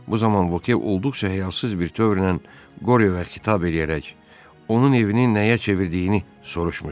Bu zaman Voke olduqca həyasız bir təvrlə Qoryoya xitab eləyərək onun evini nəyə çevirdiyini soruşmuşdu.